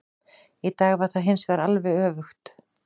Í dag var það hinsvegar alveg öfugt.